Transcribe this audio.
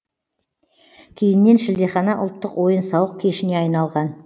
кейіннен шілдехана ұлттық ойын сауық кешіне айналған